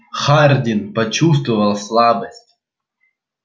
хардин почувствовал слабость